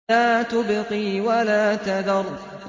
لَا تُبْقِي وَلَا تَذَرُ